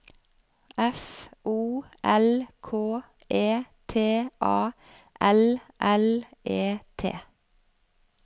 F O L K E T A L L E T